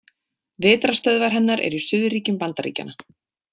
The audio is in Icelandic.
Vetrarstöðvar hennar eru í suðurríkjum Bandaríkjanna.